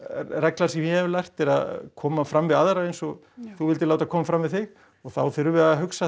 reglan sem ég hef lært er að koma fram við aðra eins og þú vilt láta koma fram við þig og þá þurfum við að hugsa